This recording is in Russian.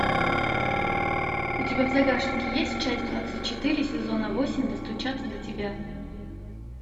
у тебя в загашнике есть часть двадцать четыре сезона восемь достучаться до тебя